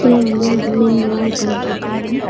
இதுல வந்து மென்லா உக்காந்ட்ருக்காங்க.